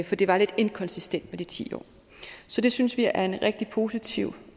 for det var lidt inkonsistent med de ti år så det synes vi er en rigtig positiv